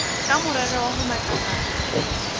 ka morero wa ho matlafatsa